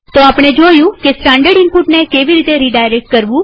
તો આપણે જોયું કે સ્ટાનડર્ડ ઈનપુટને કેવી રીતે રીડાયરેક્ટ કરવું